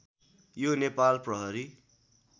यो नेपाल प्रहरी